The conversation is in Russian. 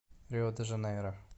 рио де жанейро